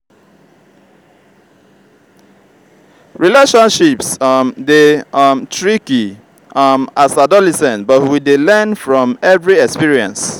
relationships um dey um tricky um as adolescent but we dey learn from every experience.